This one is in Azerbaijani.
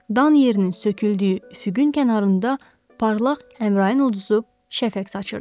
Dan yerinin söküldüyü üfüqün kənarında parlaq Əmrayin ulduzu şəfəq saçırdı.